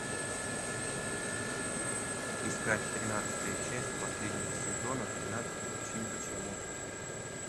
искать тринадцатая часть последнего сезона тринадцать причин почему